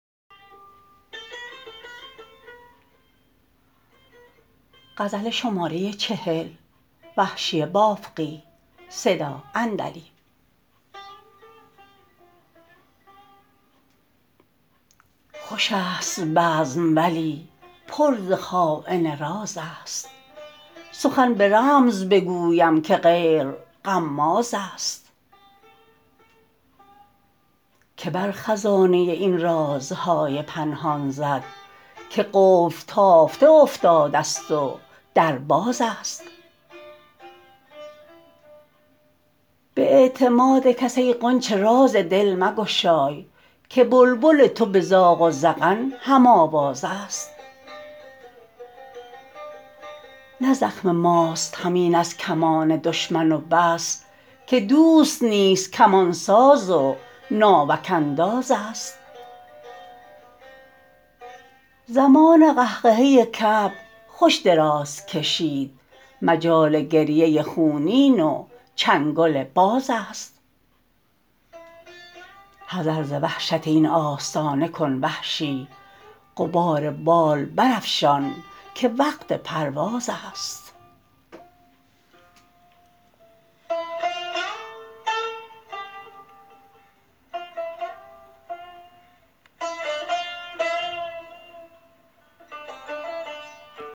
خوش است بزم ولی پر ز خاین راز است سخن به رمز بگویم که غیر غماز است که بر خزانه این رازهای پنهان زد که قفل تافته افتاده است و در باز است به اعتماد کس ای غنچه راز دل مگشای که بلبل تو به زاغ و زغن هم آواز است نه زخم ماست همین از کمان دشمن و بس که دوست نیز کمان ساز و ناوک انداز است زمان قهقهه کبک خوش دراز کشید مجال گریه خونین و چنگل باز است حذر ز وحشت این آستانه کن وحشی غبار بال بر افشان که وقت پرواز است